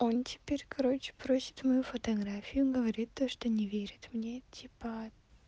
он теперь короче просит мою фотографию говорит то что не верит мне типо